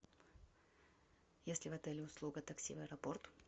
есть ли в отеле услуга такси в аэропорт